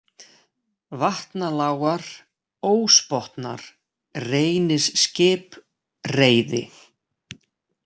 Vatnalágar, Ósbotnar, Reynisskip, Reiði